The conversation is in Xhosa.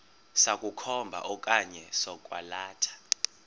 sokukhomba okanye sokwalatha